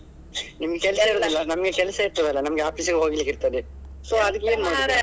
ನಿಮ್ಗೆ ಇರುದಿಲ್ಲ. ನಮ್ಗೆ ಕೆಲ್ಸ ಇರ್ತದಲ್ಲ, ನಮ್ಗೆ office ಗೆ ಹೋಗ್ಲಿಕ್ಕೆ ಇರ್ತದೆ .